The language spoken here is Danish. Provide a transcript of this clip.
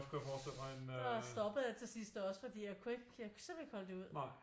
Stoppede jeg til sidst også fordi at jeg kunne ikke jeg kunne simpelthen ikke holde det ud